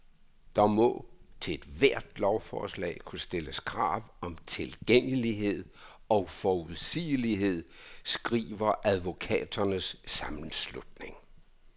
Der må til ethvert lovforslag kunne stilles krav om tilgængelighed og forudsigelighed, skriver advokaternes sammenslutning.